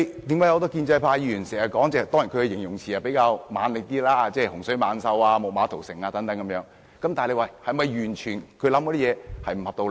很多建制派議員發言時經常使用比較強烈的形容詞，例如"洪水猛獸"、"木馬屠城"等，但他們的想法是否完全沒有道理？